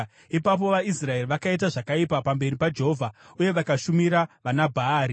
Ipapo vaIsraeri vakaita zvakaipa pamberi paJehovha uye vakashumira vanaBhaari.